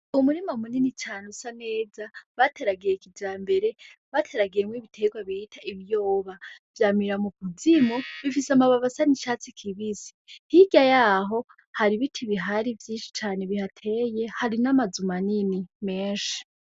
Umurima munini cane usa neza bateragiye kijambere bateragiyemwo ibiterwa bita ibiyoba vyamira mukuzimu bifise amababi asa nicatsi kibisi hirya yaho hari ibiti bihari vyinshi cane bihateye hari n'amazu manini menshi.